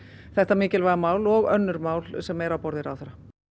þetta mikilvæga mál og önnur mál sem eru á borði ráðherra